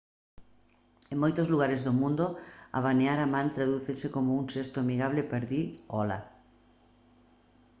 en moitos lugares do mundo abanear a man tradúcense como un xesto amigable para dicir ola